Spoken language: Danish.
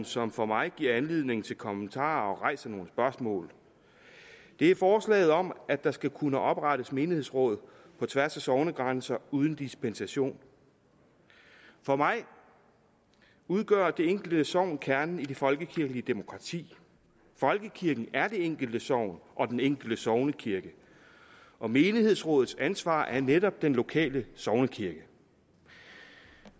som for mig giver anledning til kommentarer og rejser nogle spørgsmål det er forslaget om at der skal kunne oprettes menighedsråd på tværs af sognegrænser uden dispensation for mig udgør det enkelte sogn kernen i det folkekirkelige demokrati folkekirken er det enkelte sogn og den enkelte sognekirke og menighedsrådets ansvar er netop den lokale sognekirke